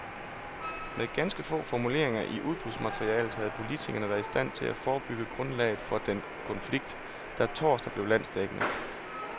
Med ganske få formuleringer i udbudsmaterialet havde politikerne været i stand til at forebygge grundlaget for den konflikt, der torsdag blev landsdækkende.